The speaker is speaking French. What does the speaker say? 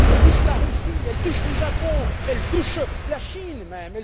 Elle touche la Russie, elle touche le Japon, elle touche la Chine, même.